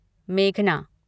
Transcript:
मेघना